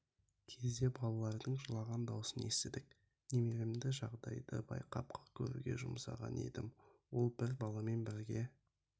кезде балалардың жылаған даусын естідік немеремді жағдайды байқап көруге жұмсаған едім ол бір баламен бірге